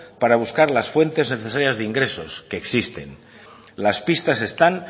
para buscar las fuentes necesarias de ingresos que existen las pistas están